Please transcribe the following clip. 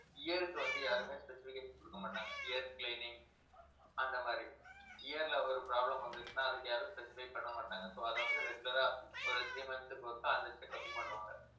ear க்கு வந்து, யாருமே specification கொடுக்க மாட்டாங்க ear cleaning அந்த மாதிரி ear ல ஒரு problem வந்துச்சுன்னா அதுக்கு யாரும் prescribe பண்ண மாட்டாங்க so அதை வந்து regular ஆ ஒரு three months க்கு ஒருக்கா அந்த checkup ம் பண்ணுவாங்க